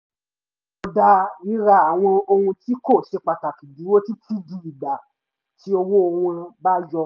mo dá ríra àwọn ohun tí kò ṣe pàtàkì dúró títí di ìgbà tí owó wọn bá yọ